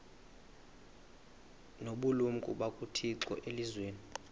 nobulumko bukathixo elizwini